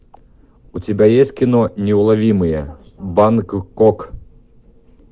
у тебя есть кино неуловимые бангкок